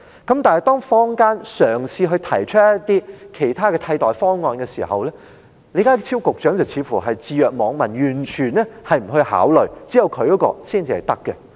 可是，當坊間嘗試提出其他替代方案時，李家超局長卻似乎置若罔聞，完全不作考慮，認為只有他的方法才可行。